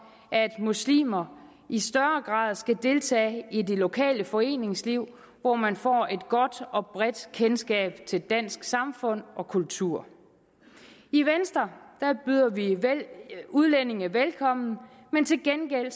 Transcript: at muslimer i større grad skal deltage i det lokale foreningsliv hvor man får et godt og bredt kendskab til dansk samfund og kultur i venstre byder vi udlændinge velkommen men til gengæld